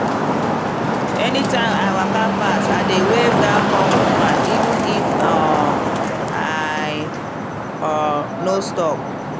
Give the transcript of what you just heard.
anytime i waka pass i dey wave that corn woman even if um i um no stop.